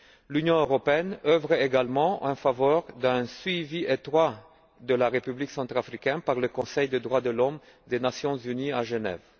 L'Union européenne œuvre également en faveur d'un suivi étroit de la République centrafricaine par le Conseil des droits de l'homme des Nations unies à Genève.